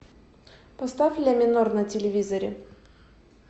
поставь ля минор на телевизоре